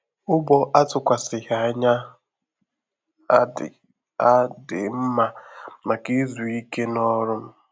Ụ̀gbọ àtụkwasịghị anya a dị a dị mma maka izu ìké na ọrụ m